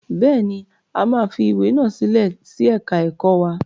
Bẹ́ẹ̀ ni, a máa fi ìwé náà sílẹ̀ sí ẹ̀ka ẹ̀kọ́ wa.